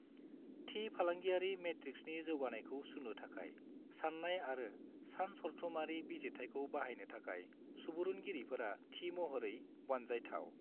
थि फालांगियारि मेट्रिक्सनि जौगानायखौ सुनो थाखाय साननाय आरो सानसरथुमारि बिजिरथाइखौ बाहायनो थाखाय सुबुरुनगिरिफोरा थि महरै बानजायथाव।